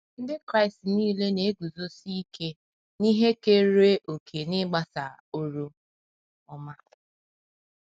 Ndị Kraịst nile na - eguzosi ike n’ihe keere òkè n’ịgbasa oru ọma.